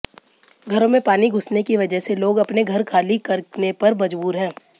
घरों में पानी घुसने की वजय से लोग अपने घर खाली करने पर मज़बूर है